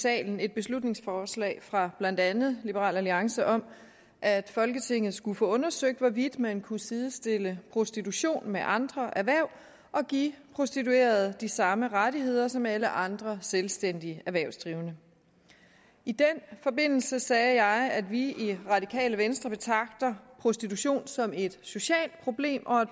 salen et beslutningsforslag fra blandt andet liberal alliance om at folketinget skulle få undersøgt hvorvidt man kunne sidestille prostitution med andre erhverv og give prostituerede de samme rettigheder som alle andre selvstændige erhvervsdrivende i den forbindelse sagde jeg at vi i det radikale venstre betragter prostitution som et socialt problem og at